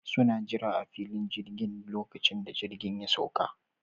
Suna jira a filin jirgin duk lokacin da jirgi ya sauƙa